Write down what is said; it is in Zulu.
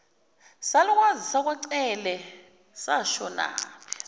salukazi sakwacele sashonaphi